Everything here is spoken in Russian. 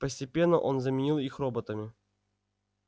постепенно он заменил их роботами